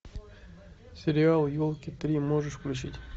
сериал елки три можешь включить